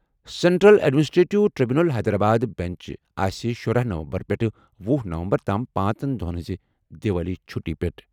Central administrative tribunal Hyderabad bench آسہِ شُرہَ نومبر پٮ۪ٹھ وہُ نومبر تام پانٛژن دۄہَن ہٕنٛز دیوالی چھُٹی پیٹھ ۔